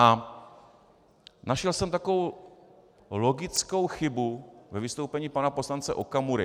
A našel jsem takovou logickou chybu ve vystoupení pana poslance Okamury.